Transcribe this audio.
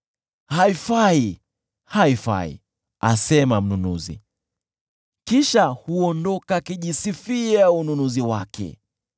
“Haifai, haifai!” asema mnunuzi, kisha huondoka akijisifia ununuzi wake.